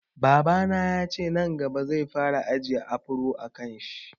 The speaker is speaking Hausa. Babana yace nan gaba zai fara ajiye afro a kanshi